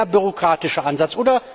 Dieser eher bürokratische Ansatz.